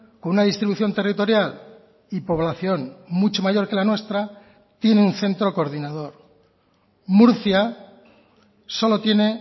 con una distribución territorial y población mucho mayor que la nuestra tiene un centro coordinador murcia solo tiene